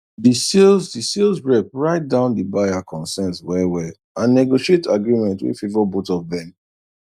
the sales the sales rep write down the buyer concerns well well and negotiate agreement wey favour both of them